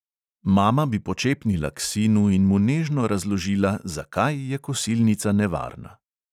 Mama bi počepnila k sinu in mu nežno razložila, zakaj je kosilnica nevarna.